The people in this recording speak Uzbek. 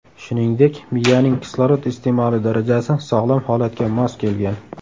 Shuningdek, miyaning kislorod iste’moli darajasi sog‘lom holatga mos kelgan.